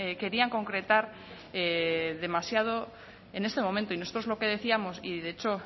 querían concretar demasiado en este momento y nosotros lo que decíamos y de hecho